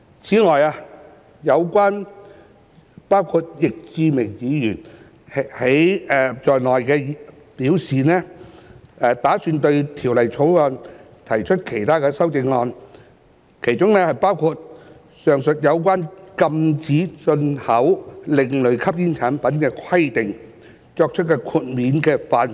此外，有包括易志明議員在內的議員曾表示，打算對《條例草案》提出其他修正案，當中包括上述有關禁止進口另類吸煙產品的規定作出豁免的範圍。